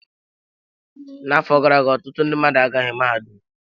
N'afọ gara aga, ọtụtụ ndị mmadụ agaghị mahadum.